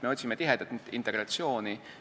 Me otsime tihedat integratsiooni.